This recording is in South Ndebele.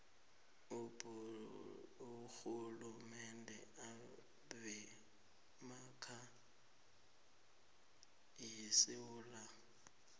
aborhulumende bemakhaya yesewula